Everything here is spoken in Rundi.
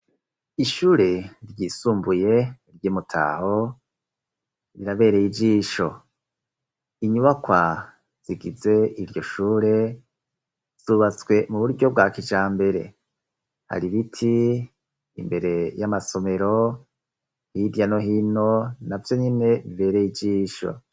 Ishure ryisumbuye ry'i Mutaho rirabereye ijisho, inyubakwa zigize iryo shure zubatswe mu buryo bwa kijambere, hari ibiti imbere y'amasomero hirya no hino navyo nyene bibereye ijisho.